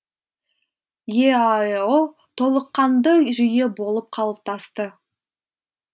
еаэо толыққанды жүйе болып қалыптасты